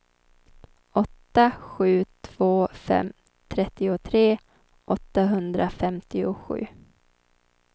åtta sju två fem trettiotre åttahundrafemtiosju